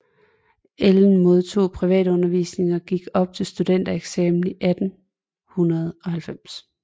Ellen modtog privatundervisning og gik op til studentereksamen i 1890